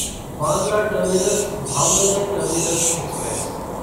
Bandra terminus Bhavnagar terminus express